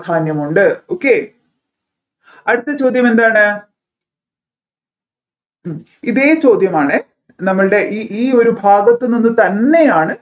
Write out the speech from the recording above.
പ്രധാനമുണ്ട് okay അടുത്ത ചോദ്യം എന്താണ് ഉം ഇതേ ചോദ്യമാണ് നമ്മൾടെ ഇ ഈ ഒരു ഭാഗത്ത് നിന്ന് തന്നെയാണ്